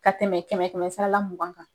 Ka tɛmɛ kɛmɛ kɛmɛ sara la mugan kan.